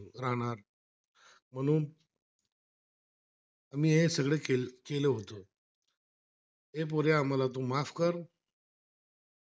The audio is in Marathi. मी हें सगळं केलं होत हे पोरे आम्हाला माफ कर